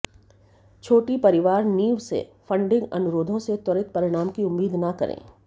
छोटी परिवार नींव से फंडिंग अनुरोधों से त्वरित परिणाम की उम्मीद न करें